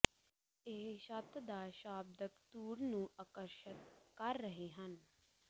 ਇਹ ਛੱਤ ਦਾ ਸ਼ਾਬਦਿਕ ਧੂੜ ਨੂੰ ਆਕਰਸ਼ਿਤ ਕਰ ਰਹੇ ਹਨ